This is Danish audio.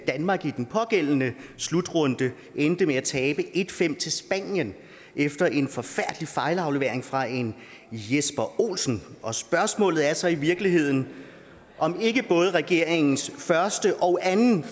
danmark i den pågældende slutrunde endte med at tabe en fem til spanien efter en forfærdelig fejlaflevering fra en jesper olsen og spørgsmålet er så i virkeligheden om ikke både regeringens første og anden